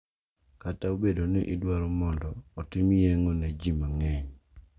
Kata bedo ni idwaro mondo otim yeng`o ne ji mang`eny.